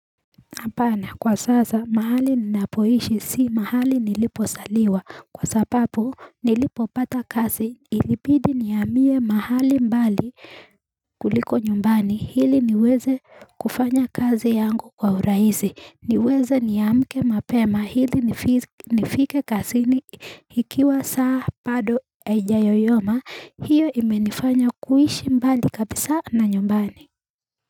Apana kwa sasa mahali ninapoishi si mahali nilipo saliwa kwa sapapu nilipo pata kasi ilipidi niamie mahali mbali kuliko nyumbani hili niweze kufanya kazi yangu kwa uraizi niweze niamke mapema hili nifike kasini hikiwa saa pado eja yoyoma hiyo imenifanya kuishi mbali kabisa na nyumbani.